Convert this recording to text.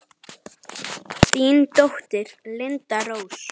Þín dóttir, Linda Rós.